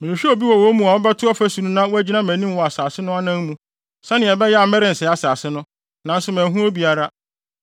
“Mehwehwɛɛ obi wɔ wɔn mu a ɔbɛto ɔfasu no na wagyina mʼanim wɔ asase no anan mu, sɛnea ɛbɛyɛ a merensɛe asase no, nanso manhu obiara.